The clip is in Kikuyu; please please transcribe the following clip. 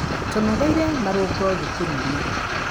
Tũnogorire marũngo cukuruinĩ.